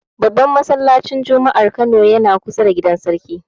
Babban masallacin juma'ar jihar Kano yana kusa da gidan Sarki.